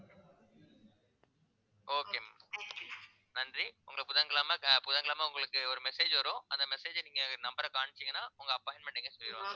okay ma'am நன்றி உங்களை புதன்கிழமை க~ புதன்கிழமை உங்களுக்கு ஒரு message வரும் அந்த message அ நீங்க number அ காமிச்சீங்கன்னா உங்க appointment அ எங்கேன்னு சொல்லிருவாங்க